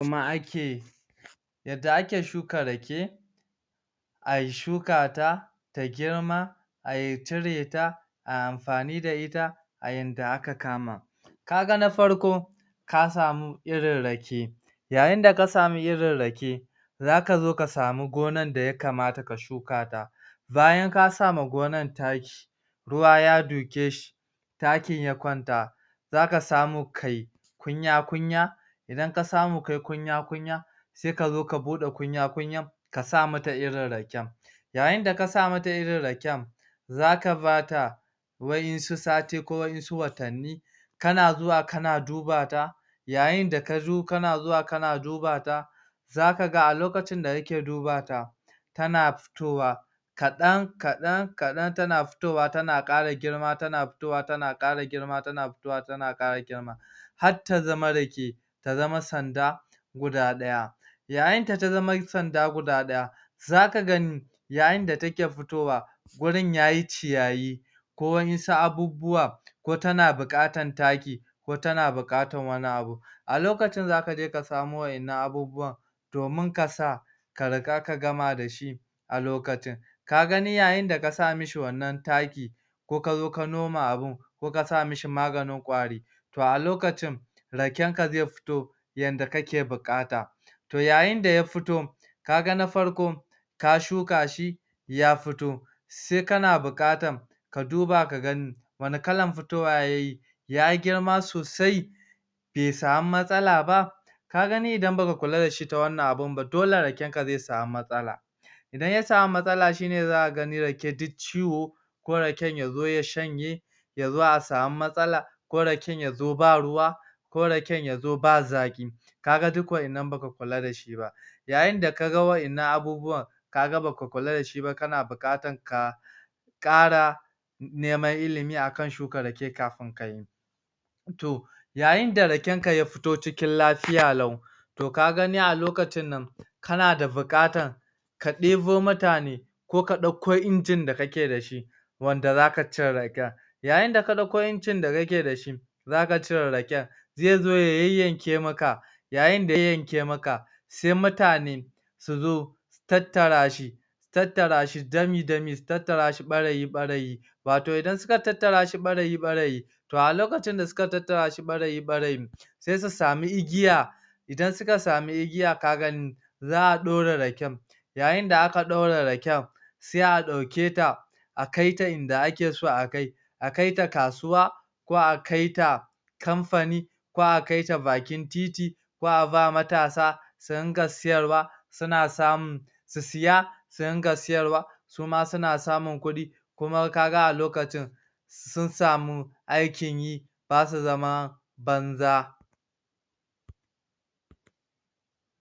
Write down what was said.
ma ake yadda ake shuka rake a shukata ta girma a cire ta a anfa da ita a yanda aka kama kaga na farko ka sa mu irin rake ya yin da ka samu irin rake za ka zo ka samu gona da yakamata ka shukata bayan ka sama gona taki ruwa ya duke shi takin ya kwanta zaka samu kayi kunya kunya idan ka samu kayi kunya kunya se ka zo ka bude kunya kunya ka sa mata irin raken yayin da ka samata irin raken zaka bata wa yansu sati ko wa yansu watani kana zuwa kana duba ta yayin da ka zo kana ziwa kana duba ta za ka ga a lokacin d kake duba ta tana fitowa kadan kadan kadan tana fitowa tana kara girma tana fitowa tana kara girma tana fitowa tana kara girma hatta zama rake ta zama sanda guda daya. Yayin da ta zama sanda guda daya, za ka gani yayin da take fitowa wurin yayi ciyayi ko anyi su abubuwa ko tana bukatan taki ko tana bukatan wani abu a lokacin zaka je ka samo waddan abubuwa domin kasa ka riga ka gma da shi a lokacin ka gani yayin da ka sa mishi wanna taki ko ka zo ka noma abin, ko ka sa mishi maganin kwari ba a lokacin raken ka ze fito yanda kake bukata to yayin da ya fito kaga na farko ka shuka shi ya fito se kana bukatan ka duba ka gani wani kalan fitowa yayi yayi girma sosai be samu matsala ba ka gani idan baka kula dashi ba ta wannan abun ba dole raken ka ze sami matsala idan ya sami matsala shine zaka gani rake uk ciwo ko rae y zo ya shanye ya zo a sau matsala ko raken ya zo ba ruwa ko raken ya zo ba zaki ka ga duk waddan nan baka kula da shi ba yayin da ka ga waddan nan abubuwan ka ga baka kula dashi ba kana bukatan ka kara neman illimi akan shukan rake kafin kayi to yayin da raken ka ya fito cikin lafiya lau to ka gani lokacin nan kana da bukatan ka debo mutane ko ka dako ingin da kake dashi wanda zaka cire raken. Yayin da ka dauko ingin ka kake dashi zaka cire raken zai zo ya yanyanke maka yayin da ya yanyanke maka sai mutane su zo su tattara shi su tattara shi dami dami su tattara shi barayi barayi wato idan suka tattara shi barayi barayi to a lokacin da suka tattara shi barayi barayi sai su same igiya idan suka sami igiya ka gani za a dore raken yayin a aka daura raken se a dauke ta a kaita inda ake so a kai a kaita kasuwa, ko a kaita kamfani, ko a kaita bakin titi, ko a ba matasa su ringa siyarwa suna samu su siya su ringa siyarwa suma suna samin kudi kum kaga a lokacin sun sami aikin yi ba su zama banza